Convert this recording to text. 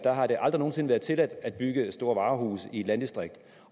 har det aldrig nogen sinde været tilladt at bygge store varehuse i et landdistrikt